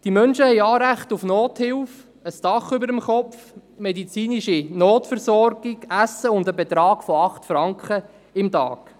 Diese Menschen haben Anrecht auf Nothilfe, ein Dach über dem Kopf, auf medizinische Notversorgung, Essen und einen Betrag von 8 Franken pro Tag.